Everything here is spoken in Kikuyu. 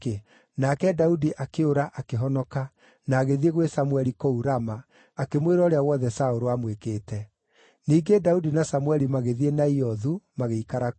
Nake Daudi akĩũra, akĩhonoka, na agĩthiĩ gwĩ Samũeli kũu Rama, akĩmwĩra ũrĩa wothe Saũlũ aamwĩkĩte. Ningĩ Daudi na Samũeli magĩthiĩ Naiothu, magĩikara kuo.